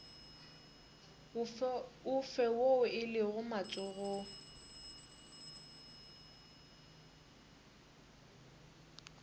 ofe woo o lego matsogong